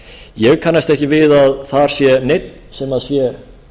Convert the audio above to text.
ég kannast ekki við að þar sé neinn sem sé